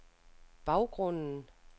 baggrunden